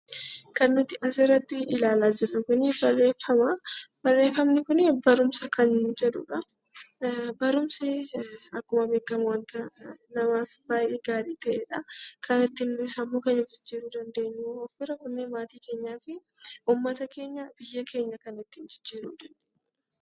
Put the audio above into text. Kana nuti as irratti ilaalaa jirru Kun barreeffama. Barreeffamni kun kan barumsa jedhuudha. Barumsi akkuma beekamu kan namaaf baayyee gaarii ta'eedha. Kan nuti ittiin sammuu keenya jijjiiruu dandeenyu fi maatii keenyaaf, uummata fi biyya keenya kan ittiin jijjiiruu dandeenyuudha.